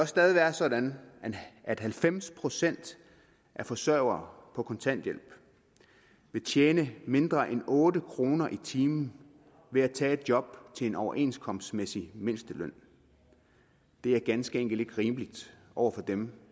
stadig være sådan at halvfems procent af forsørgere på kontanthjælp vil tjene mindre end otte kroner i timen ved at tage et job til en overenskomstmæssig mindsteløn det er ganske enkelt ikke rimeligt over for dem